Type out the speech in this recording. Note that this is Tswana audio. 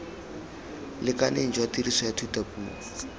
lekaneng jwa tiriso ya thutapuo